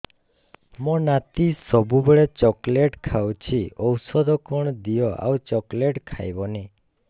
ମୋ ନାତି ସବୁବେଳେ ଚକଲେଟ ଖାଉଛି ଔଷଧ କଣ ଦିଅ ଆଉ ଚକଲେଟ ଖାଇବନି